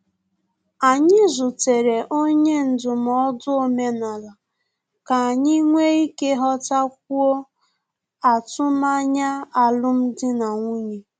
Anyị zutere onye ndụmọdụ omenala ka anyị nwe ike ghọtakwuo atụmanya alum dị na nwunye